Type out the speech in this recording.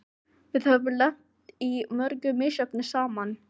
Við höfum lent í mörgu misjöfnu saman.